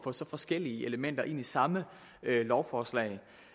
få så forskellige elementer ind i samme lovforslag